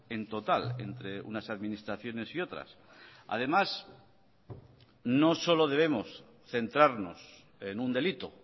en total entre unas administraciones y otras además no solo debemos centrarnos en un delito